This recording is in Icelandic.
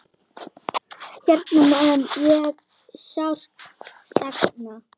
Hennar mun ég sárt sakna.